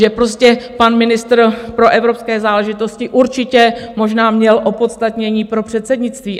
Že prostě pan ministr pro evropské záležitosti určitě možná měl opodstatnění pro předsednictví.